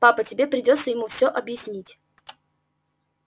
папа тебе придётся ему все объяснить